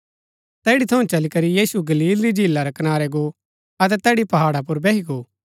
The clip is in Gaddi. तैड़ी थऊँ चली करी यीशु गलील री झीला रै कनारै गो अतै तैड़ी पहाड़ा पुर बैही गो